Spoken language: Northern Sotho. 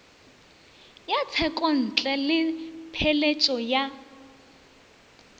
ya tshekontle le pheletšo ya